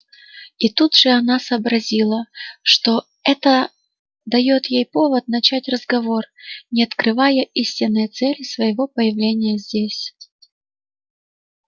и тут же она сообразила что это даёт ей повод начать разговор не открывая истинной цели своего появления здесь